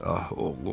Ah oğlum.